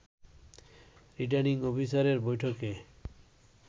returning অফিসাররা বৈঠকে